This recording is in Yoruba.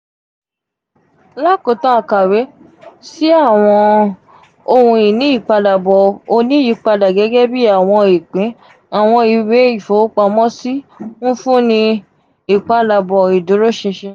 lakootan akawe si awọn ohun-ini ipadabọ oniyipada gẹgẹ bi awọn ipin awọn iwe ifowopamọsi n funni ipadabọ iduroṣinṣin.